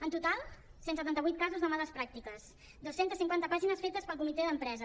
en total cent i setanta vuit casos de males pràctiques dos cents i cinquanta pàgines fetes pel comitè d’empresa